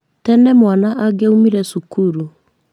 Tene mwana angĩaumire cukuru,